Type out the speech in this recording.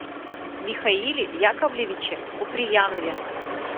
михаиле яковлевиче куприянове